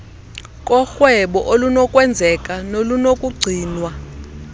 korhwebo olunokwenzeka nolunokugcinwa